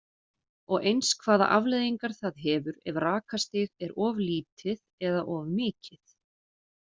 Og eins hvaða afleiðingar það hefur ef rakastig er of lítið eða of mikið?